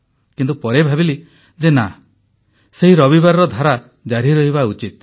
କିନ୍ତୁ ପରେ ଭାବିଲି ଯେ ନା ସେହି ରବିବାରର ଧାରା ଜାରି ରହିବା ଉଚିତ